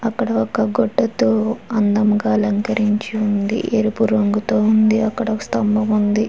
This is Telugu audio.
అక్కడ ఒక గుడ్డుతో అందంగా అలంకరించి ఉంది. ఎరుపు రంగుతో ఉంది అక్కడ ఒక స్తంభం ఉంది.